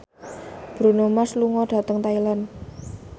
Bruno Mars lunga dhateng Thailand